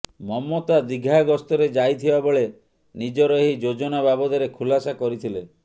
ମମତା ଦୀଘା ଗସ୍ତରେ ଯାଇଥିବା ବେଳେ ନିଜର ଏହି ଯୋଜନା ବାବଦରେ ଖୁଲାସା କରିଥିଲେ